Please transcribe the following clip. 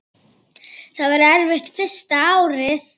Það var erfitt fyrsta árið.